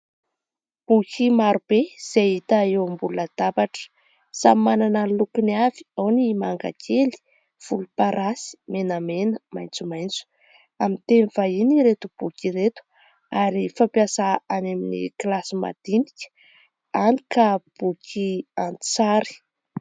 Boky maro be izay hita eo ambony latabatra samy manana ny lokony avy ao ny mangakely, volomparasy, menamena, maintsomaintso. Amin'ny teny vahiny ireto boky ireto ary fampiasa any amin'ny kilasy madinika any ka boky an-tsary